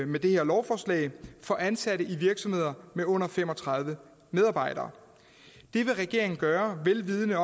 med det her lovforslag for ansatte i virksomheder med under fem og tredive medarbejdere det vil regeringen gøre vel vidende